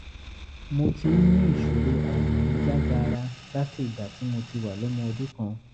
mo ti ń ní ìṣòro àìlèmí jágaara láti ìgbà tí mo ti wà lọ́mọ ọdún kan